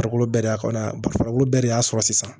Farikolo bɛɛ de y'a kɔnɔ bara bɛɛ de y'a sɔrɔ sisan